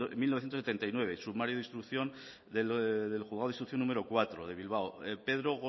mil novecientos setenta y nueve sumario del juzgado de instrucción número cuatro de bilbao pedro